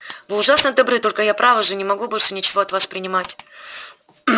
вы ужасно добры только я право же не могу больше ничего от вас принимать